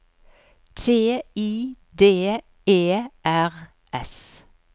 T I D E R S